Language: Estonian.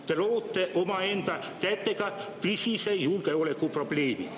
Te loote omaenda kätega tõsise julgeolekuprobleemi.